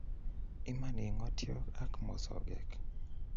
Iman i ngotyot ak mosogek